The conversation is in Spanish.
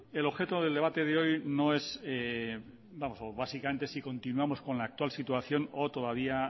el objeto del debate de hoy no es o básicamente si continuamos con la actual situación o todavía